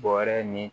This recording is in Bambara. Bɔrɛ ni